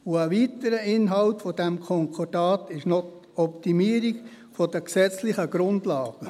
Ein weiterer Inhalt dieses Konkordats ist die Optimierung der gesetzlichen Grundlagen.